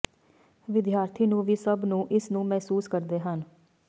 ਵਿਦਿਆਰਥੀ ਨੂੰ ਵੀ ਸਭ ਨੂੰ ਇਸ ਨੂੰ ਮਹਿਸੂਸ ਕਰਦੇ ਹਨ